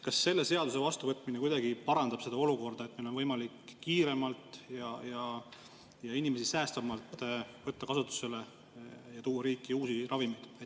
Kas selle seaduse vastuvõtmine kuidagi parandab seda olukorda, nii et meil oleks võimalik kiiremalt ja inimesi säästvamalt võtta kasutusele ja tuua riiki uusi ravimeid?